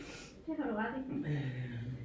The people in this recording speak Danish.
Det har du ret i